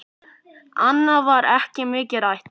Annað var ekki mikið rætt.